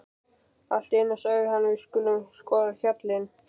Allt í einu sagði hann: Við skulum skoða hjallinn.